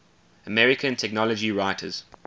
american technology writers